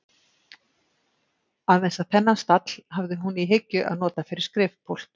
Aðeins að þennan stall hafði hún í hyggju að nota fyrir skrifpúlt.